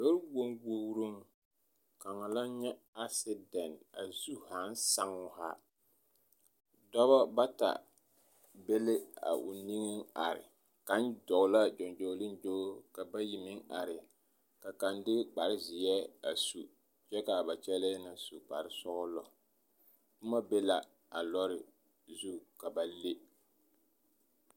Lɔɔ-wonwogiroŋ kaŋa la nyɛ asidɛnti a zu haaŋ saŋ o haa dɔbɔ bata be la a o niŋeŋ are kaŋ dɔɔ la gyɔgyoliŋgyo ka bayi meŋ are ka kaŋ de kpare zeɛ a su kyɛ ka ba kyɛlɛɛ na su kpare sɔgelɔ, boma be la a lɔɔre zu ka ba le.